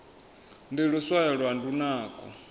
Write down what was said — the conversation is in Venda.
ndi luswayo lwa lunako